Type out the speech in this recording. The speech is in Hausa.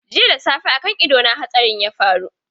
Jiya da safe kan ido su hatsarin ya faru.